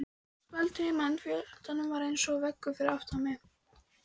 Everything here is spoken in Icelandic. Skvaldrið í mannfjöldanum var eins og veggur fyrir aftan mig.